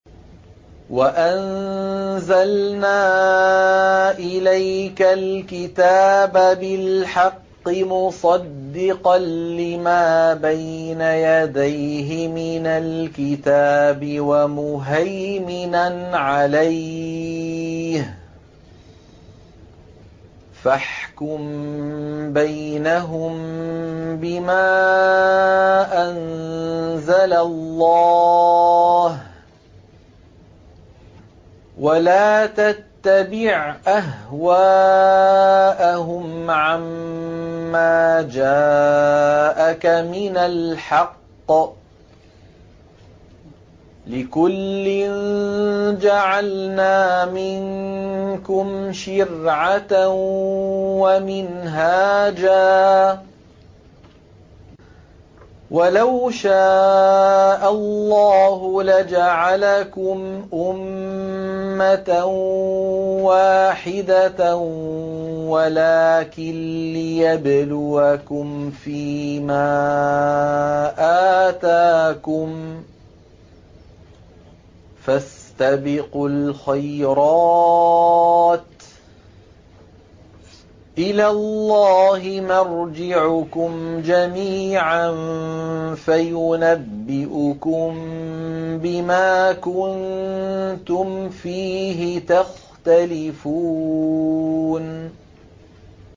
وَأَنزَلْنَا إِلَيْكَ الْكِتَابَ بِالْحَقِّ مُصَدِّقًا لِّمَا بَيْنَ يَدَيْهِ مِنَ الْكِتَابِ وَمُهَيْمِنًا عَلَيْهِ ۖ فَاحْكُم بَيْنَهُم بِمَا أَنزَلَ اللَّهُ ۖ وَلَا تَتَّبِعْ أَهْوَاءَهُمْ عَمَّا جَاءَكَ مِنَ الْحَقِّ ۚ لِكُلٍّ جَعَلْنَا مِنكُمْ شِرْعَةً وَمِنْهَاجًا ۚ وَلَوْ شَاءَ اللَّهُ لَجَعَلَكُمْ أُمَّةً وَاحِدَةً وَلَٰكِن لِّيَبْلُوَكُمْ فِي مَا آتَاكُمْ ۖ فَاسْتَبِقُوا الْخَيْرَاتِ ۚ إِلَى اللَّهِ مَرْجِعُكُمْ جَمِيعًا فَيُنَبِّئُكُم بِمَا كُنتُمْ فِيهِ تَخْتَلِفُونَ